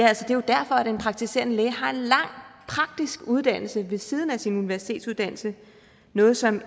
er jo derfor den praktiserende læge har en lang praktisk uddannelse ved siden af sin universitetsuddannelse noget som